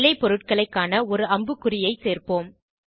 விளைப்பொருட்களை காண ஒரு அம்புக்குறியை சேர்ப்போம்